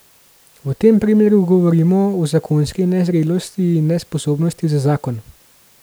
V tem primeru govorimo o zakonski nezrelosti in nesposobnosti za zakon.